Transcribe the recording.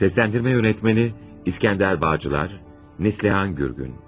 Sesləndirmə yönetməni İskəndər Bağçılar, Neslihan Gürgün.